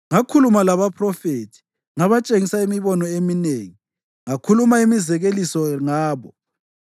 Ngakhuluma labaphrofethi, ngabatshengisa imibono eminengi ngakhuluma imizekeliso ngabo.”